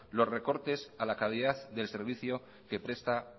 los recortes a la calidad del servicio que presta